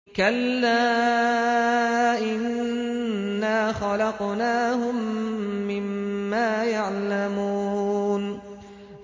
كَلَّا ۖ إِنَّا خَلَقْنَاهُم مِّمَّا يَعْلَمُونَ